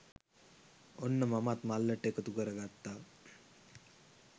ඔන්න මමත් මල්ලට එකතු කරගත්තා